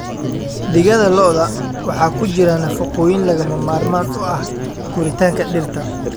Digada lo'da waxaa ku jira nafaqooyin lagama maarmaan u ah koritaanka dhirta.